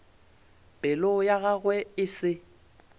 pelo ya gagwe e se